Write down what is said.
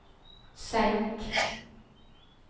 senk